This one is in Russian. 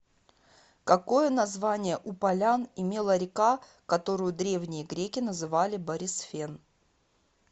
какое название у полян имела река которую древние греки называли борисфен